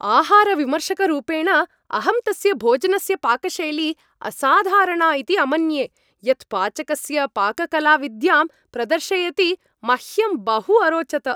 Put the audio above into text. आहारविमर्शकरूपेण, अहं तस्य भोजनस्य पाकशैली असाधारणा इति अमन्ये, यत् पाचकस्य पाककलाविद्यां प्रदर्शयति, मह्यम् बहु अरोचत।